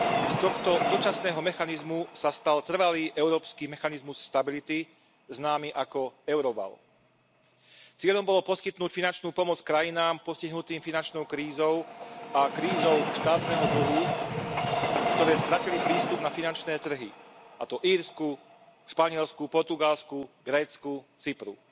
Z tohto dočasného mechanizmu sa stal trvalý Európsky mechanizmus pre stabilitu známy ako euroval. Cieľom bolo poskytnúť finančnú pomoc krajinám postihnutým finančnou krízou a krízou štátneho dlhu, ktoré stratili prístup na finančné trhy, a to Írsku, Španielsku, Portugalsku, Grécku, Cypru.